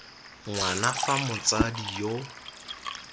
ng wana fa motsadi yo